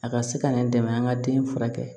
A ka se ka nɛ dɛmɛ an ka den furakɛ